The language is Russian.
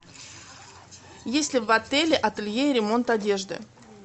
есть ли в отеле ателье и ремонт одежды